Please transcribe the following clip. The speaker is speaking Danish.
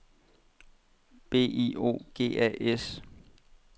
B I O G A S